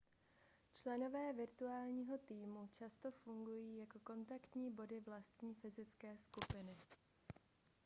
členové virtuálního týmu často fungují jako kontaktní body vlastní fyzické skupiny